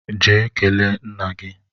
Jee kele nna gi!